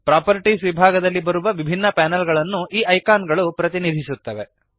properties ವಿಭಾಗದಲ್ಲಿ ಬರುವ ವಿಭಿನ್ನ ಪ್ಯಾನಲ್ ಗಳನ್ನು ಈ ಐಕಾನ್ ಗಳು ಪ್ರತಿನಿಧಿಸುತ್ತವೆ